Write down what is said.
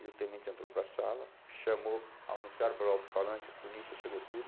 E o tenente entrou para a sala, chamou, anunciaram pelo alto-falante, a polícia chegou tudo.